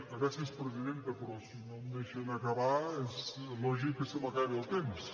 gràcies presidenta però si no em deixen acabar és lògic que se m’acabi el temps